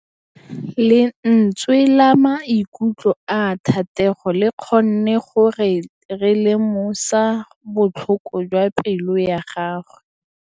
Lentswe la maikutlo a Thategô le kgonne gore re lemosa botlhoko jwa pelô ya gagwe.